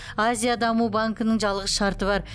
азия даму банкінің жалғыз шарты бар